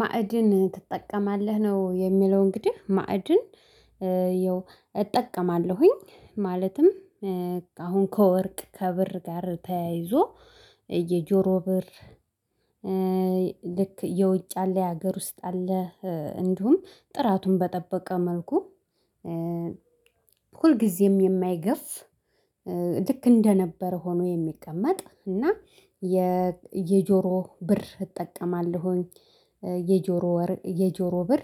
ማዕድን ትጠቀማለህ ነው? የሚለው እንግዲህ ማዕድን እጠቀማለሁኝ። ማለትም አሁን ከወርቅ ከብር ጋር ተያይዞ የጆሮ ብር። ልክ የውጭ አለ የሀገር ውስጥ አለ እንዲሁም ጥራቱን በጠበቀ መልኩ ሁልጊዜም የማይገፍ ልክ እንደነበረ ሆኖ የሚቀመጥ እና የጆሮ ብር እጠቀማለሁኝ። የጆሮ ወርቅ የጆሮ ብር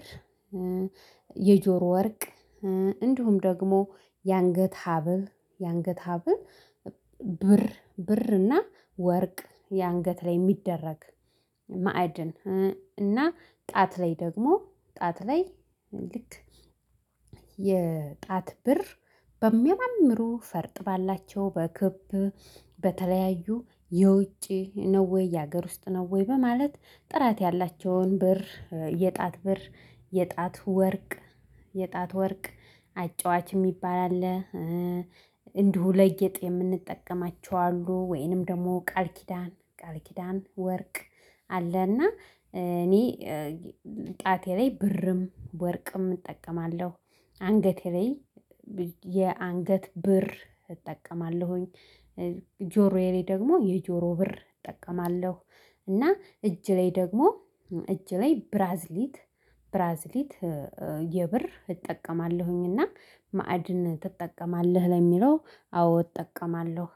የጆሮ ወርቅ እንዲሁም ደግሞ የአንገት ሀብል የአንገት ሀብል። ብር እና ወርቅ የአንገት ላይ የሚደረግ ማዕድን እና ጣት ላይ ደግሞ ጣት ላይ ልክ የጣት ብር በሚያማምሩ ፈርጥ ባላቸው በክብ በተለያዩ የውጪ ነው ወይ የሀገር ውስጥ ነው ወይ በማለት ጥራት ያላቸውን ብር የጣት ብር የጣት ወርቅ የጣት ወርቅ አጫዋች የሚባል አለ። እንዲሁ ለጌጥ የምንጠቀማቸው አሉ ወይንም ደግሞ ቃል ኪዳን ቃል ኪዳን ወርቅ አለና እኔ ጣቴ ላይ ብርም ወርቅም እጠቀማለሁ አንገቴ ላይ የአንገት ብር እጠቀማለሁኝ። ጆሮዬ ላይ ደግሞ የጆሮ ብር እጠቀማለሁ እና እጄ ላይ ደግሞ እጄ ላይ ብራስሌት ብራስሌት የብር እጠቀማለሁኝና። ማዕድን ትጠቀማለህ ለሚለው? አዎ እጠቀማለሁ